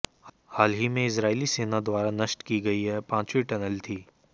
हाल ही में इजरायली सेना द्वारा नष्ट की गई यह पांचवी टनल थी